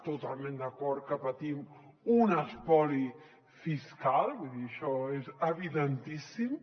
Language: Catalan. totalment d’acord que patim un espoli fiscal vull dir això és evidentíssim